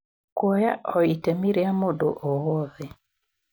Kũoya o ĩtemi rĩa mũndũ o wothe